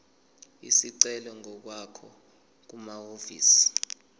isicelo ngokwakho kumahhovisi